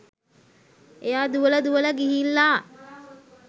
එයා දුවලා දුවලා ගිහිල්ලා